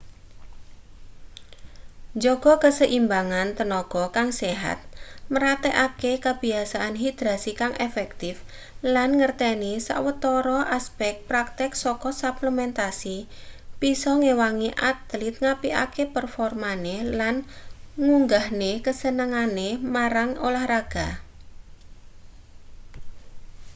njaga kaseimbangan tenaga kang sehat mraktekake kebiasaan hidrasi kang efektif lan mangerteni sawetara aspek praktek saka suplementasi bisa ngewangi atlit ngapikake performane lan ngunggahne kasenengane marang olahraga